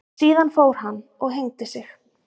Síðan fór hann og hengdi sig.